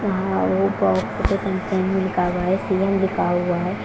CM लिखा हुआ है।